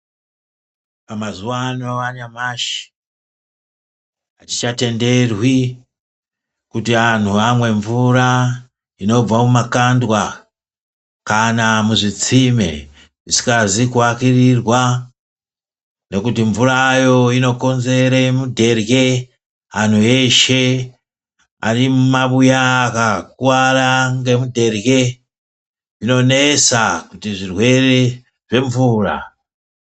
Mazuva ano anyamashi hazvichatenderwi kuti anhu amwe mvura inobva mumakandwa kana muzvitsime zvisikazi kuakirirwa. Nekuti mvurayo inokonzere mudherye. Anhu eshe arimumabuya akakuvara ngemudherye. Zvinonesa kuti zvirwere zvemvura...